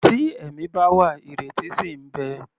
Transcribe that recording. Tí ẹ̀mí bá wà, ìrètí ṣì ń bẹ.